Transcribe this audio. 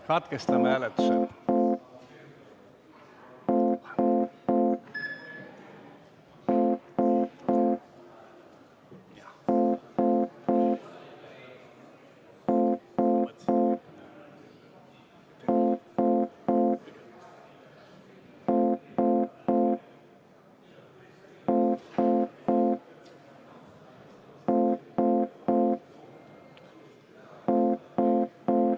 Kutsun siis enne saali.